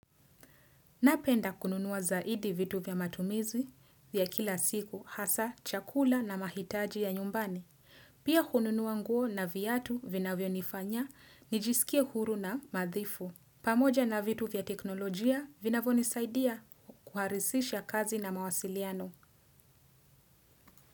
Napenda kununuwa zaidi vitu vya matumizi vya kila siku hasa chakula na mahitaji ya nyumbani. Pia hununuwa nguo na viatu vinavyo nifanya nijisikie huru na nadhifu. Pamoja na vitu vya teknolojia vinavyo nisaidia kurahisisha kazi na mawasiliano.